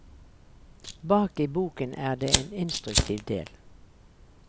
Bak i boken er det en instruktiv del.